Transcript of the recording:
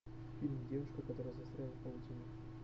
фильм девушка которая застряла в паутине